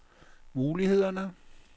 mulighederne